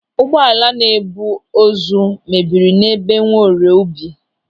Ụgbọala na-ebu ozu mebiri n'ebe Nwaorie Ubi.